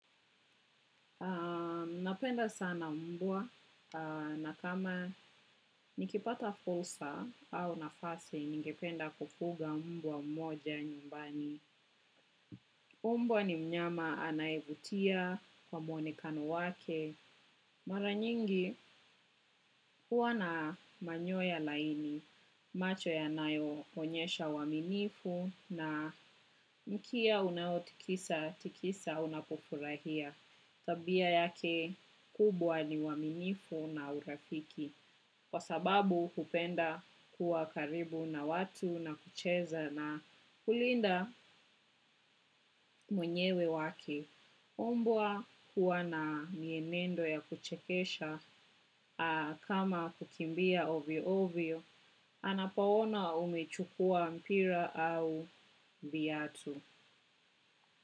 Napenda sana mbwa na kama nikipata fursa au nafasi, ningependa kufuga mbwa mmoja nyumbani. Mbwa ni mnyama anayevutia kwa mwonekano wake. Mara nyingi, huwa na manyoya laini, macho yanayo onyesha uaminifu na mkia unao tikisa tikisa unapofurahia. Tabia yake kubwa ni uaminifu na urafiki, kwa sababu hupenda kuwa karibu na watu na kucheza na kulinda mwenyewe wake. Mbwa huwa na mienendo ya kuchekesha kama kukimbia ovyo-ovyo, anapoona umechukua mpira au viatu.